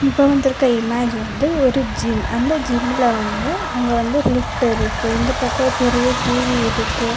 இப்போ வந்திருக்க இமேஜ் வந்து ஒரு ஜிம் அந்த ஜிம்ல வந்து அங்க வந்து ஒரு லிஃப்ட் இருக்கு இந்தப் பக்கம் பெரிய டி_வி இருக்கு.